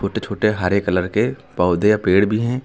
छोटे छोटे हरे कलर के पौधे और पेड़ भी हैं।